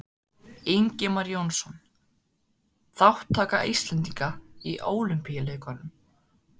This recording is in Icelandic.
Ingimar Jónsson: Þátttaka Íslendinga í Ólympíuleikunum